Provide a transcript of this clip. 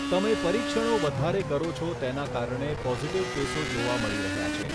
તમે પરીક્ષણો વધારે કરો છો તેના કારણે પોઝિટિવ કેસો જોવા મળી રહ્યા છે.